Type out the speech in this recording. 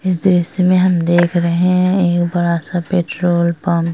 इस दृश्य में हम देख रहे है एक बड़ा-सा पेट्रोल पंप ।